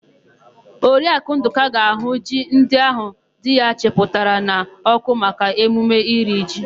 Oriakụ Ndụka ga-àhụ́ ji ndị áhụ̀ di ya chịpụtara n'ọ́kụ́ maka emume iri ji.